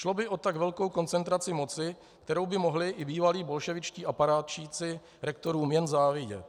Šlo by o tak velkou koncentraci moci, kterou by mohli i bývalí bolševičtí aparátčíci rektorům jen závidět.